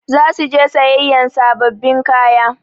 Za su je sayayyan sababbin kaya.